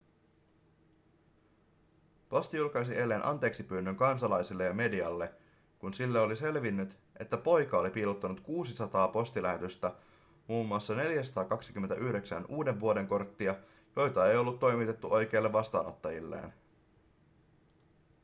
posti julkaisi eilen anteeksipyynnön kansalaisille ja medialle kun sille oli selvinnyt että poika oli piilottanut 600 postilähetystä mm 429 uudenvuodenkorttia joita ei ollut toimitettu oikeille vastaanottajilleen